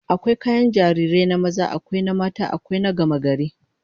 Akwai kayan jarirai na maza, akwai na mata, akwai na gamagari